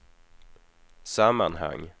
sammanhang